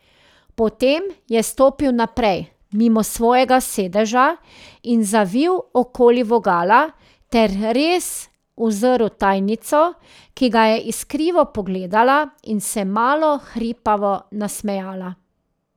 Potem je stopil naprej mimo svojega sedeža in zavil okoli vogala ter res uzrl tajnico, ki ga je iskrivo pogledala in se malo hripavo nasmejala.